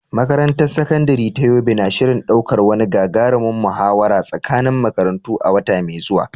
Makarantar Sakandare ta Yobe na shirin ɗaukar wani gagarumin muhawara tsakanin makarantu a wata mai zuwa.